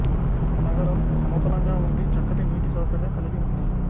నగరం సమతలంగా ఉండి చక్కటి నీటి సౌకర్యం కలిగి ఉంది